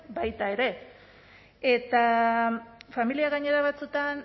baita ere eta familiak gainera batzuetan